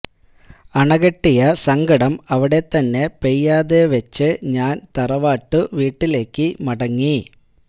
അണകെട്ടിയ സങ്കടം അവിടെ തന്നെ പെയ്യാതെ വെച്ച് ഞാന് തറവാട്ടു വീട്ടിലേക്കു മടങ്ങി